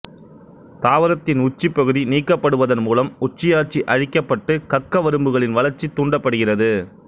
தாவரத்தின் உச்சிப்பகுதி நீக்கப்படுவதன் மூலம் உச்சியாட்சி அழிக்கப்பட்டு கக்கவரும்புகளின் வளர்ச்சி தூண்டப்படுகிறது